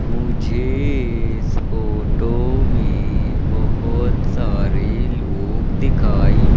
मुझे इस फोटो में बहोत सारे लोग दिखाई--